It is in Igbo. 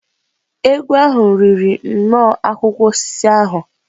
Egwu ahụ riri nnọọ akwụkwọ osisi ahụ.